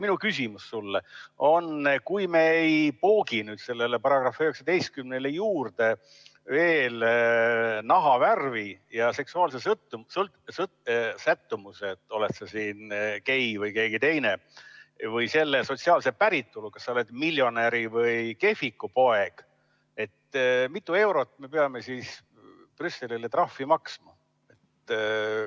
Minu küsimus sulle on järgmine: kui me ei poogi sellele §‑le 19 juurde nahavärvi ja seksuaalset sättumust või sotsiaalset päritolu , siis mitu eurot me peame Brüsselile trahvi maksma?